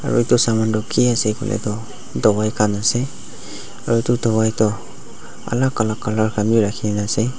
aro itu saman toh ki ase koike tuh dawai khan ase aro itu dawai tu alak alak colour khan bi rakhigena ase.